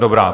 Dobrá.